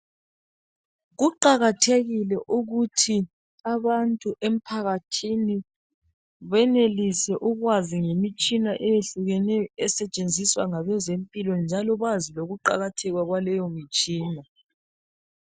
Kuqakathekile ukuthi abantu emphakathini benelise ukwazi ngemitshina eyehlukeneyo esetshenziswa ngabezempilo njalo bazi lokuqakatheka kwaleyi mitshina.